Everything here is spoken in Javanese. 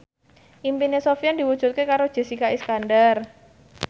impine Sofyan diwujudke karo Jessica Iskandar